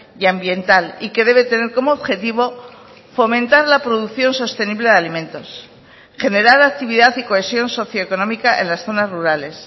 y ambiental y que debe tener como objetivo fomentar la producción sostenible de alimentos generar actividad y cohesión socio económica en las zonas rurales